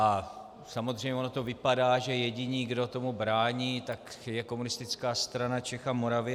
A samozřejmě ono to vypadá, že jediní, kdo tomu brání, tak je Komunistická strana Čech a Moravy.